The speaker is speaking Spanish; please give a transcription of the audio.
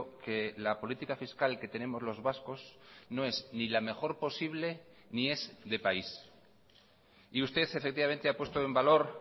que la política fiscal que tenemos los vascos no es ni la mejor posible ni es de país y usted efectivamente ha puesto en valor